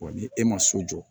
ni e ma so jɔ